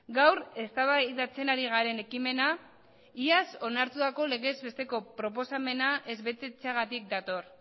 gaur eztabaidatzen ari garen ekimena iaz onartutako legez besteko proposamena ez betetzeagatik dator